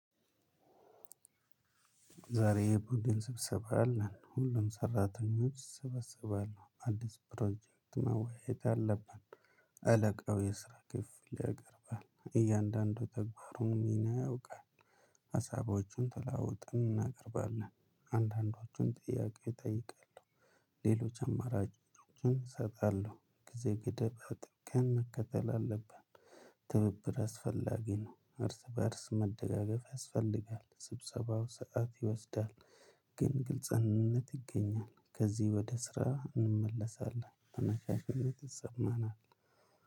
ዛሬ ቡድን ስብሰባ አለን ሁሉም ሰራተኞች ይሰበሰባሉ አዲስ ፕሮጀክት መወያየት አለብን። አለቃው የስራ ክፍል ያቀርባል እያንዳንዱ ተግባሩን ሚና ያውቃል። ሀሳቦቹን ተለዋውጠን እናቀርባለን። አንዳንዶቹን ጥያቄ እጠይቃለሁ። ሌሎች አማራጮችን እሰጣለሁ። ጊዜ ገደብ አጥብቀን መከተል አለብን። ትብብር አስፈላጊ ነው እርስ በእርስ መደጋገፍ ያስፈልጋል። ስብሰባው ሰዓት ይወስዳል። ግን ግልጽነት ይገኛል ከዚህ ወደ ስራ እንመለሳለን። ተነሳሽነት ይሰማናል።